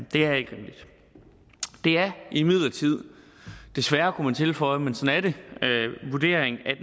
det er ikke rimeligt det er imidlertid desværre kunne man tilføje men sådan er det vurderingen at